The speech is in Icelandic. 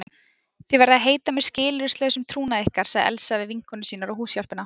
Þið verðið að heita mér skilyrðislausum trúnaði ykkar sagði Elsa við vinkonur sínar og húshjálpina.